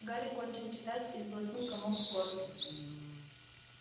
гарри кончил читать и сглотнул комок в горле